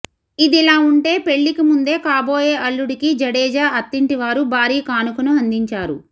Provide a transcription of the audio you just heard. ఇదిలా ఉంటే పెళ్లికి ముందే కాబోయే అల్లుడికి జడేజా అత్తింటివారు భారీ కానుకను అందించారు